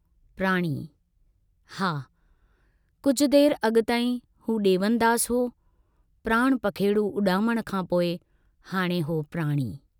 प्राणी, हा कुछ देर अगु ताईं हू डेवनदास हो, प्राण पखेडू उडामण खां पोइ हाणे हो प्राणी।